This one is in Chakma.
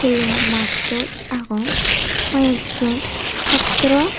school o mattut agon hoi ek jon satro.